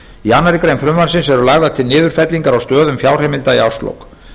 í annarri grein frumvarpsins eru lagðar til niðurfellingar á stöðum fjárheimilda í árslok